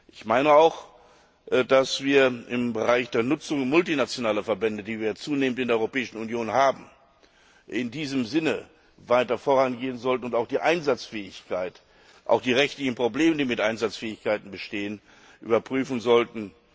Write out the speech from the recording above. Ich meine auch, dass wir im Bereich der Nutzung multinationaler Verbände, die wir zunehmend in der Europäischen Union haben, in diesem Sinne weiter vorangehen sollten und auch die Einsatzfähigkeit und auch die rechtlichen Probleme, die mit der Einsatzfähigkeit bestehen, überprüfen sollten.